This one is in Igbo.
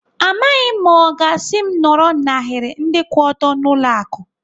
Amaghị m ma ọ ga-asị m nọrọ n'ahiri ndị kwụ ọtọ n'ụlọ akụ.